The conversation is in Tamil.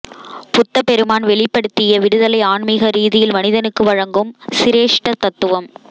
புத்தபெருமான் வெளிப்படுத்திய விடுதலை ஆன்மீக ரீதியில் மனிதனுக்கு வழங்கும் சிரேஷ்ட தத்துவம்